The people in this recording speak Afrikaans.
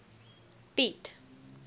piet